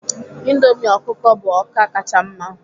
Indomi ọkụkọ bụ ọka kacha mma